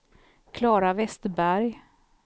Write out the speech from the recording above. Klara Westberg